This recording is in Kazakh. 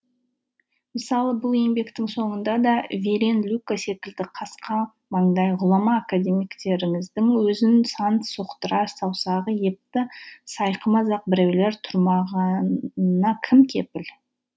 мысалы бұл еңбектің соңында да верен люка секілді қасқа маңдай ғұлама академиктеріңіздің өзін сан соқтырар саусағы епті сайқымазақ біреулер тұрмағанына кім кепіл